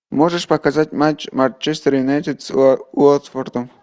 можешь показать матч манчестер юнайтед с уотфордом